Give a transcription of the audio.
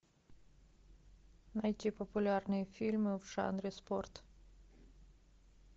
найти популярные фильмы в жанре спорт